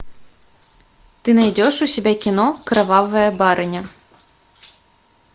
ты найдешь у себя кино кровавая барыня